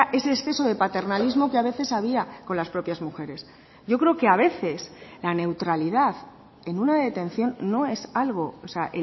ese exceso de paternalismo que a veces había con las propias mujeres yo creo que a veces la neutralidad en una detención no es algo o sea